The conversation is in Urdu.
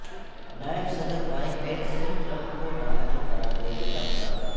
نائب صدر مائک پنس سے ٹرمپ کو نااہل قرار دینے کا مطالبہ